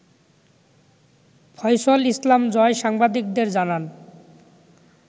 ফয়সল ইসলাম জয় সাংবাদিকদের জানান